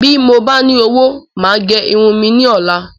Bí mo ba ní owó, màá gẹ irun mi ní ola